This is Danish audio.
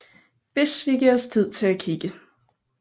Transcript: Hvis vi giver os tid til at kigge